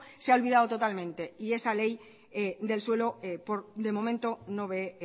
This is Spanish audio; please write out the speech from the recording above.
se ha olvidado totalmente y esa ley del suelo de momento no ve